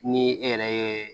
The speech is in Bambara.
Ni e yɛrɛ ye